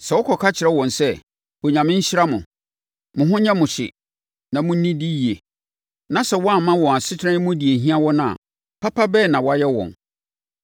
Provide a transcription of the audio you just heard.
sɛ wokɔka kyerɛ wɔn sɛ, “Onyame nhyira mo! Mo ho nyɛ mo hye na monnidi yie” na sɛ woamma wɔn asetena yi mu deɛ ɛhia wɔn a, papa bɛn na woayɛ wɔn?